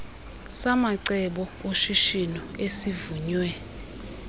samacebo oshishino esivunywe